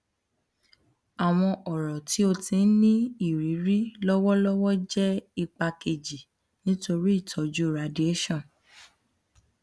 awọn ọrọ ti o ti n ni iriri lọwọlọwọ jẹ ipa keji nitori itọju radiation